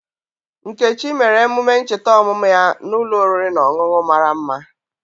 Nkechi mere emume ncheta ọmụmụ ya n'ulọ oriri na ọṅụṅụ mara mma.